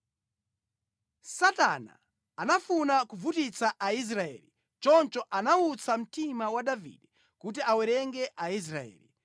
Satana anafuna kuvutitsa Aisraeli choncho anawutsa mtima wa Davide kuti awerenge Aisraeli.